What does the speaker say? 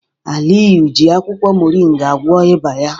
Aliyu ji akwukwo moringa gwọọ ịba ya.